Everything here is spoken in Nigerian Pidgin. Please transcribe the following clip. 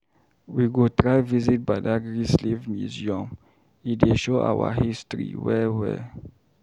We go try visit badagary Slave Museum, e dey show our history well-well.